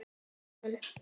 spurði hún